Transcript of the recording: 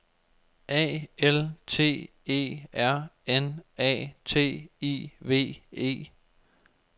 A L T E R N A T I V E